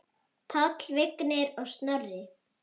Páll, Vignir og Snorri.